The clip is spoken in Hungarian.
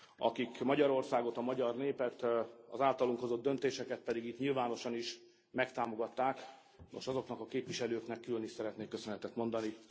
Akik Magyarországot, a magyar népet, az általuk hozott döntéseket pedig itt nyilvánosan is megtámogatták, nos azoknak a képviselőknek külön is szeretnék köszönetet mondani.